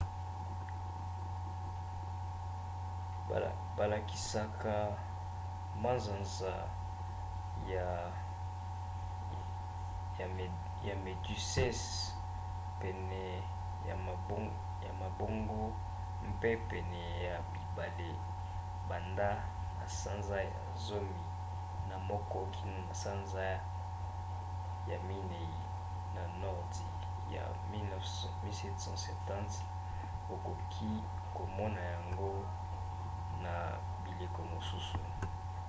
balakisaka manzanza ya méduses pene ya mabongo mpe pene ya bibale banda na sanza ya zomi na moko kino na sanza ya minei na nordi ya 1770. okoki komona yango na bileko mosusu